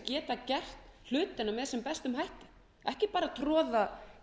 geta gert hlutina sem best ekki bara troða